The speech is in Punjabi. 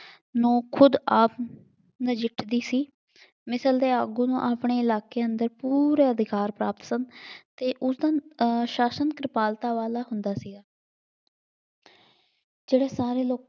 ਨੂੰ ਖੁਦ ਆਪ ਨਜਿੱਠਦੀ ਸੀ। ਮਿਸ ਦੇ ਆਗੂ ਨੂੰ ਆਪਣੇ ਇਲਾਕੇ ਅੰਦਰ ਪੂਰੇ ਅਧਿਕਾਰ ਪ੍ਰਾਪਤ ਸਨ ਅਤੇ ਉਦੋਂ ਅਹ ਸਾਸ਼ਨ ਕਿਰਪਾਲਤਾ ਵਾਲਾ ਹੁੰਦਾ ਸੀ। ਜਿਹੜੇ ਸਾਰੇ ਲੋਕ